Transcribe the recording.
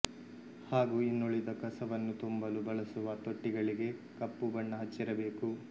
ಹಾಗೂ ಇನ್ನುಳಿದ ಕಸವನ್ನು ತುಂಬಲು ಬಳಸುವ ತೊಟ್ಟಿಗಳಿಗೆ ಕಪ್ಪು ಬಣ್ಣ ಹಚ್ಚಿರಬೇಕು